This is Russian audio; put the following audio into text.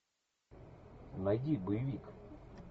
найди боевик